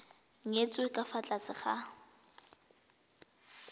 nyetswe ka fa tlase ga